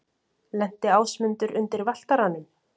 Lenti Ásmundur undir Valtaranum?